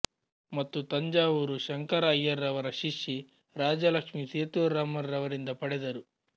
ಮತ್ತು ತಂಜಾವೂರು ಶಂಕರ ಐಯ್ಯರ್ ರವರ ಶಿಷ್ಯೆ ರಾಜಲಕ್ಷ್ಮೀ ಸೇತುರಾಮನ್ ರವರಿಂದ ಪಡೆದರು